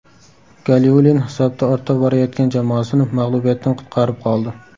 Galiulin hisobda ortda borayotgan jamoasini mag‘lubiyatdan qutqarib qoldi.